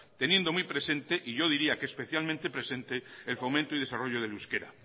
teniendo muy presente y yo diría que especialmente presente el fomento y desarrollo del euskera